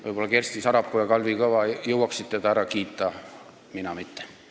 Võib-olla jõuaksid Kersti Sarapuu ja Kalvi Kõva teda ära kiita, mina mitte.